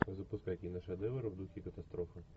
запускай киношедевр в духе катастрофы